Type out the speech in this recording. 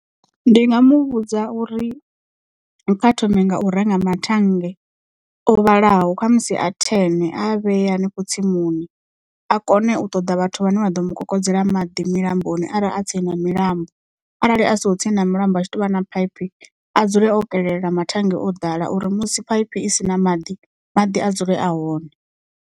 Ndi nga muvhudza uri kha thome nga u renga mathannge o vhalaho kha musi a ten a a vhee hanefho tsimuni a kone u ṱoḓa vhathu vhane vha ḓo mukokodzela maḓi milamboni arali a tsini na milambo arali a siho tsini na milambo a tshi tovha na phaiphi a dzule o kelela mathannge o ḓala uri musi phaiphi i si na maḓi maḓi a dzule a hone.